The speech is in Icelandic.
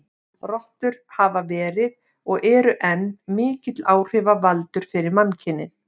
Rottur hafa verið, og eru enn, mikill áhrifavaldur fyrir mannkynið.